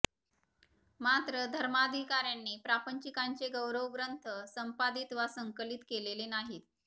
मात्र धर्माधिकाऱ्यांनी प्रापंचिकांचे गौरवग्रंथ संपादित वा संकलित केलेले नाहीत